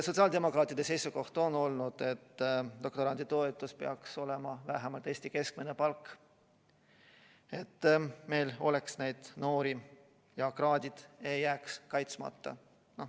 Sotsiaaldemokraatide seisukoht on olnud, et doktoranditoetus peaks olema vähemalt Eesti keskmise palga suurune, et meil oleks neid noori ja kraadid ei jääks kaitsmata.